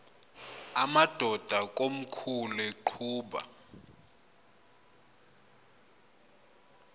amadod akomkhul eqhub